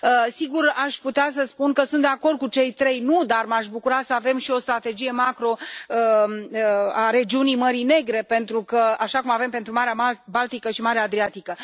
Sigur, aș putea să spun că sunt de acord cu cei trei, dar m aș bucura să avem și o strategie macro a regiunii Mării Negre, așa cum avem pentru Marea Baltică și Marea Adriatică.